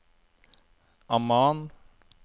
Amman